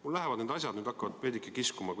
Meil hakkavad need asjad nüüd kuidagi veidike kiiva kiskuma.